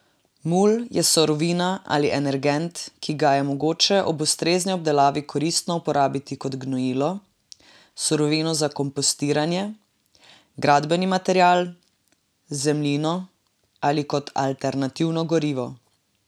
Mulj je surovina ali energent, ki ga je mogoče ob ustrezni obdelavi koristno uporabiti kot gnojilo, surovino za kompostiranje, gradbeni material, zemljino ali kot alternativno gorivo.